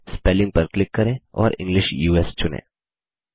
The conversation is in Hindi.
स्पेलिंग पर क्लिक करें और इंग्लिश यूएस चुनें